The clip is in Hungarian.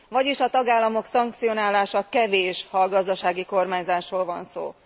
Vagyis a tagállamok szankcionálása kevés, ha a gazdasági kormányzásról van szó.